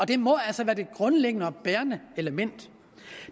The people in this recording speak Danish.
det må altså være det grundlæggende og bærende element